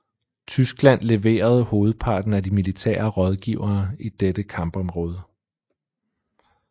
Tyskland leverede hovedparten af de militære rådgivere i dette kampområde